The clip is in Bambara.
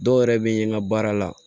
Dɔw yɛrɛ bɛ n ka baara la